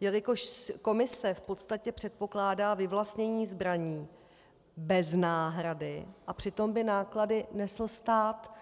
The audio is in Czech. jelikož Komise v podstatě předpokládá vyvlastnění zbraní bez náhrady, a přitom by náklady nesl stát.